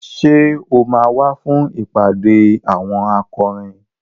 Ṣé o máa wá fún ìpàdé àwọn akọrin?